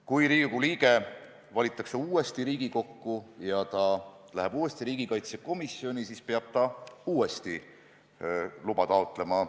Kui parlamendiliige valitakse uuesti Riigikokku ja ta läheb jälle riigikaitsekomisjoni, siis ta peab uuesti luba taotlema.